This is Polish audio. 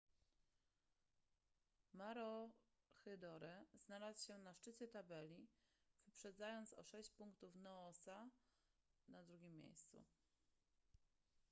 maroochydore znalazł się na szczycie tabeli wyprzedzając o sześć punktów noosa na drugim miejscu